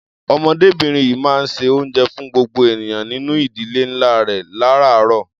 Ọmọdébìnrin yìí máa ń se oúnjẹ fún gbogbo ènìyàn nínú ìdílé ńlá rẹ̀ láráàárọ̀.